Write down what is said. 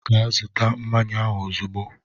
Gaa zụta mmanya ahụ ozugbo!